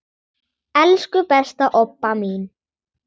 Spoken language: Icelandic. Elsku besta Obba mín.